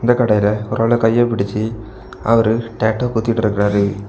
இந்த கடையில ஒரு ஆள் கைய புடிச்சு அவரு டாட்டூ குத்திட்டு இருக்காரு.